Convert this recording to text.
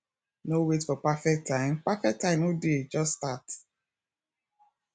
no wait for perfect time perfect time no dey just start